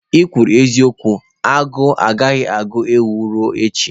kwuru eziokwu, agụụ agaghị agụ ewu ruo echi.